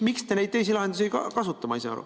Miks te neid teisi lahendusi ei kasuta, ma ei saa aru.